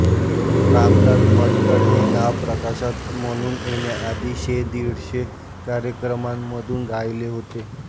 रामदास भटकळ हे नाव प्रकाशक म्हणून येण्याआधी शेदीडशे कार्यक्रमांमधून गायले होते